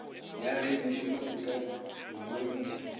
ya bengmešomo e ka ingwadiša